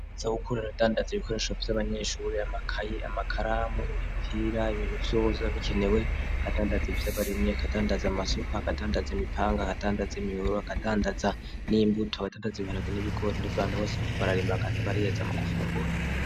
Aza gukuru aradandaza ibikoresho vy'abanyeshuri yamakayi amakaramu imipira ibintu vyoza bikenewe agadandaza vyo abaremye akadandaza amasoko agadandaza imipanga agadandaza imiuru agadandaza n'imbuto agadandazi bibanaga n'ibigori n'abantu bose riko bararimba agaza abariyeza mu gufungura.